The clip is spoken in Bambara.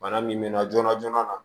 Bana min mɛna joona joona